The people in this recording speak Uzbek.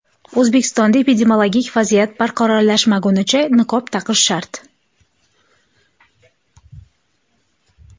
O‘zbekistonda epidemiologik vaziyat barqarorlashmaguncha niqob taqish shart.